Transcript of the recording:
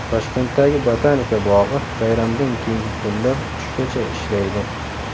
Toshkentdagi Botanika bog‘i bayramdan keyingi kunlar tushgacha ishlaydi.